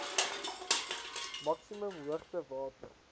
maksimum hoogte water